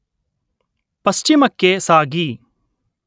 ಪಶ್ಚಿಮಕ್ಕೆ ಸಾಗಿ